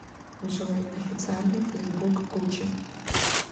джой официальный фейсбук гуччи